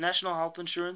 national health insurance